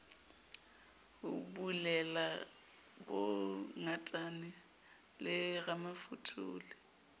ho bulela bongatane le ramafothole